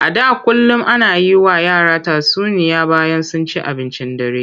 A da kullum ana yi wa yara tatsuniya bayan sun ci abincin dare.